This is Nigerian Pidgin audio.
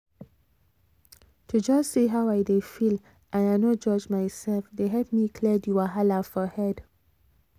to just see how i dey feel and i no judge myself dey help me clear the wahala for head